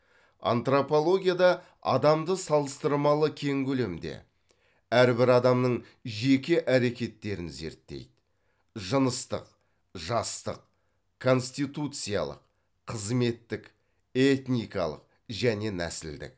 антропологияда адамды салыстырмалы кең көлемде әрбір адамның жеке әрекеттерін зерттейді жыныстық жастық конституциялық қызметтік этникалық және нәсілдік